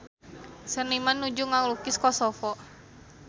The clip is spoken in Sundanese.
Seniman nuju ngalukis Kosovo